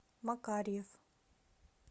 макарьев